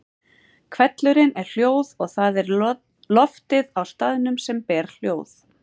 Hvellurinn er hljóð og það er loftið á staðnum sem ber hljóð.